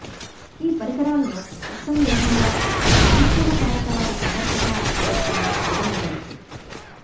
ఈ పరికరాలకు నిస్సందేహంగా సానుకూల కారక వారి సమర్థతా ప్రదర్శన పరిగణించవచ్చు